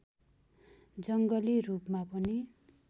जङ्गली रूपमा पनि